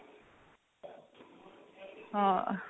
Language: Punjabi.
ਹਾਂ